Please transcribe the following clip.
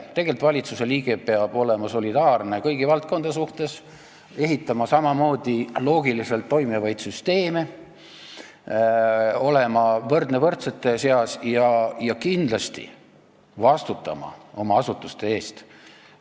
Tegelikult peab valitsusliige olema solidaarne kõigi valdkondadega, ehitama samamoodi loogiliselt toimivaid süsteeme, olema võrdne võrdsete seas ja kindlasti vastutama oma asutuste eest.